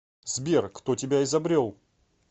сбер кто тебя изобрел